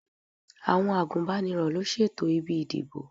Àwọn àgùnbánirọ̀ ló ṣètò ibi ìdìbò.